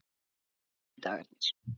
sunnudagarnir